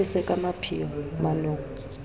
mo apese ka mapheo manong